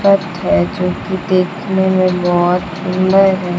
अर्थ है जोकि देखने में बहोत सुंदर है।